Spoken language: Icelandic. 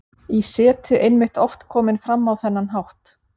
í seti einmitt oft komin fram á þennan hátt.